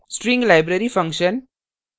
string library functions